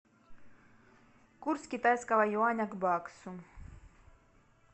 курс китайского юаня к баксу